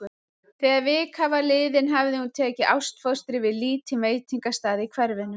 Þegar vika var liðin hafði hún tekið ástfóstri við lítinn veitingastað í hverfinu.